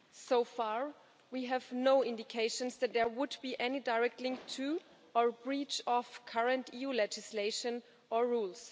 So far, we have no indications that there would be any direct link to, or breach of, current EU legislation or rules.